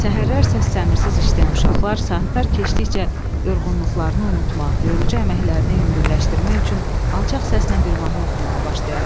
Səhərlər səssəmirsiz işləyən uşaqlar saatlar keçdikcə yorğunluqlarını unutmaq, yorucu əməklərini yüngülləşdirmək üçün alçaq səslə bir mahnı oxumağa başlayardılar.